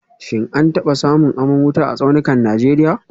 Shin an taba samun aman wuta a tsaunukan Najeriya